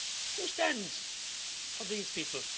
Who stands for these people?